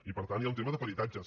i per tant hi ha un tema de peritatges